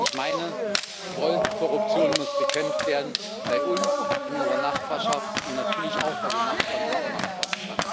Ich meine Jawohl, Korruption muss bekämpft werden, bei uns, in unserer Nachbarschaft und natürlich auch bei den Nachbarn unserer Nachbarn.